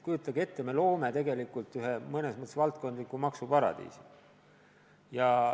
Kujutage ette, et me loome tegelikult mõnes mõttes valdkondliku maksuparadiisi.